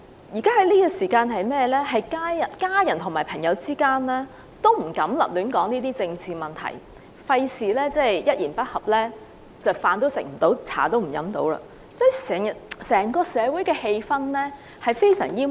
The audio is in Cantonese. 現時，家人和朋友之間都不敢提及政治問題，以免一言不合，飯也吃不了，茶也喝不成，整個社會的氣氛非常煩悶。